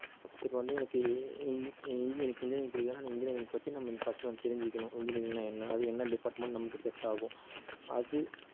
இப்ப வந்து எனக்கு e~ en~ en~ எனக்கு engineering பிடிக்குதுன்னா எனக்கு engineering பத்தி நாம first வந்து தெரிஞ்சுக்கணும் engineering னா என்ன அதுல என்ன department நமக்கு set ஆகும் அது